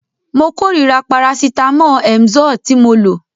Mo kórira parasítámọ̀ Emzoe tí mo lò.